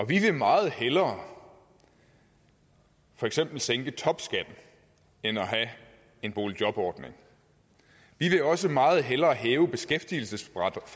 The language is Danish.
vi vil meget hellere for eksempel sænke topskatten end at have en boligjobordning vi vil også meget hellere hæve beskæftigelsesfradraget